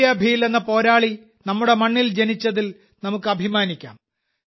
ടൻട്യാഭീൽ എന്ന പോരാളി നമ്മുടെ മണ്ണിൽ ജനിച്ചതിൽ നമുക്ക് അഭിമാനിക്കാം